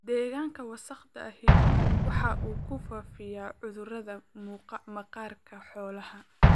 Deegaanka wasakhda ahi waxa uu ku faafiyaa cudurrada maqaarka xoolaha.